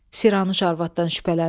Siranuş arvadından şübhələndi.